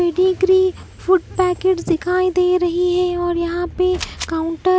pedigree food packets दिखाई दे रही है और यहाँ पे काउन्टर --